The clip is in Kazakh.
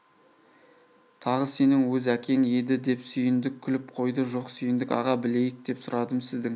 тағы сенің өз әкең еді деп сүйіндік күліп қойды жок сүйіндік аға білейік деп сұрадым сіздің